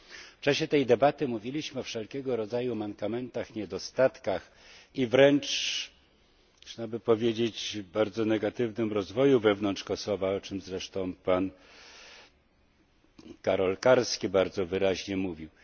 W czasie tej debaty mówiliśmy o wszelkiego rodzaju mankamentach, niedostatkach i wręcz można by powiedzieć bardzo negatywnym rozwoju wewnątrz Kosowa, o czy zresztą pan Karol Karski bardzo wyraźnie mówił.